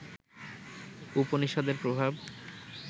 উপনিষদের প্রভাব